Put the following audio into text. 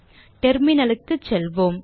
Terminal க்கு செல்வோம்